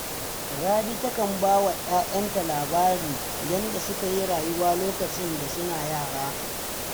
Rabi takan ba wa ‘ya’yanta labarin yadda suka yi rayuwa lokacin da suna yara